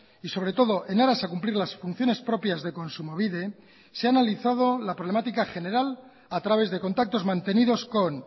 y sobre todo en aras a cumplir las funciones propias de kontsumobide se ha analizado la problemática general a través de contactos mantenidos con